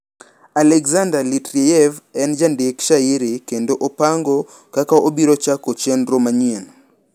Alexander Litreyev en jandik shairi kendo opango kaka obiro chako chenro manyien.